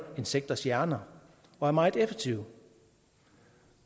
insekters hjerner og er meget effektive